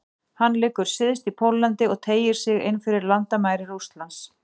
Hann liggur syðst í Póllandi og teygir sig inn fyrir landamæri Hvíta-Rússlands.